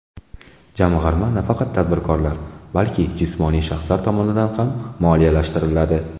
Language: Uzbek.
Jamg‘arma nafaqat tadbirkorlar, balki jismoniy shaxslar tomonidan ham moliyalashtiriladi.